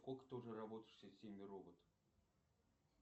сколько ты уже работаешь в системе роботов